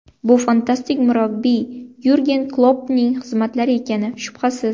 Bu fantastik murabbiy Yurgen Kloppning xizmatlari ekani, shubhasiz.